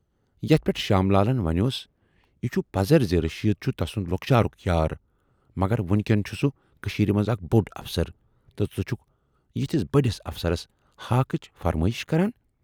یتھ پٮ۪ٹھ شام لالن ونیوس"یہِ چھُ پزر زِ رشید چھُ تسُند لۅکچارُک یار، مگر وُنۍکٮ۪ن چھُ سُہ کٔشیٖرِ منز اکھ بوڈ افسر تہٕ ژٕ چھَکھ یِتھِس بٔڈِس افسرس ہاکھٕچ فرمٲیِش کران۔